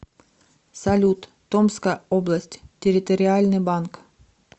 салют томская область территориальный банк